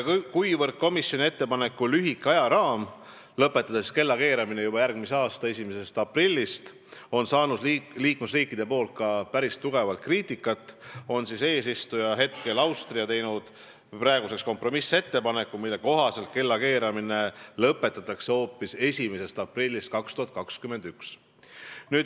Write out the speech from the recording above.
Kuna komisjoni ettepaneku lühike ajaraam lõpetada kellakeeramine juba järgmise aasta 1. aprillist on saanud liikmesriikidest päris kõvasti kriitikat, on eesistuja Austria teinud kompromissettepaneku, mille kohaselt kellakeeramine lõpetatakse hoopis 1. aprillist 2021.